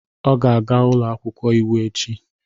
Ọ ga-aga ụlọ akwụkwọ iwu echi